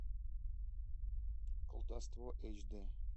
колдовство эйч дэ